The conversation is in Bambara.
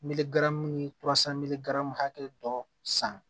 Melimu hakɛ dɔ san